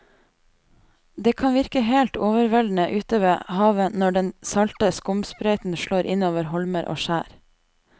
Det kan virke helt overveldende ute ved havet når den salte skumsprøyten slår innover holmer og skjær.